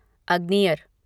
अग्नियर